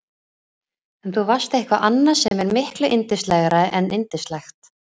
En þú varst eitthvað annað sem er miklu yndislegra en yndislegt.